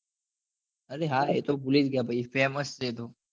અરે હા એ તો ભૂલી જ ગયો ભાઈ ફેમસ છે